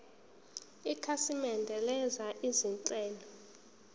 ikhasimende lenza izinhlelo